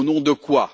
Au nom de quoi?